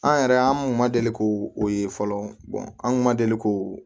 An yɛrɛ an kun ma deli k'o ye fɔlɔ an kun ma deli k'o